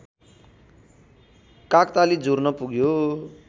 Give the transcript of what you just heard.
काकताली जुर्न पुग्यो